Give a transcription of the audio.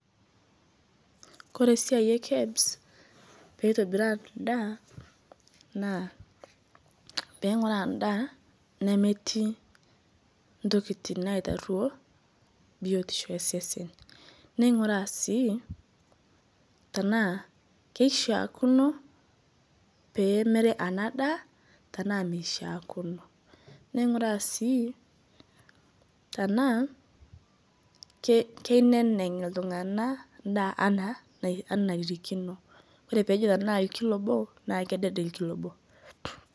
Koree esiai e kebs na peitobiraa endaa na peinguraa endaa nemetii ntokitin naitaruo biotisho tosesen ninguraa sii tanaa kishaakino pemiri enadaa tanaa mishaakino neinguraa sii tanaa kineneng ltunganak endaa ana naitirikino, ore tanaa enkilo obo na kidede enkilo nabo .